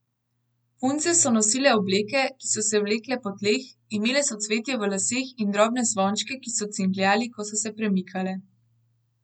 Punce so nosile obleke, ki so se vlekle po tleh, imele so cvetje v laseh in drobne zvončke, ki so cingljali, ko so se premikale.